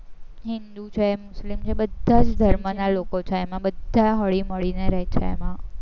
હિન્દૂ છે, મુસ્લિમ છે એ બધા જ ધર્મના લોકો છે ને બધા હળીમળીને રહે છે એમાં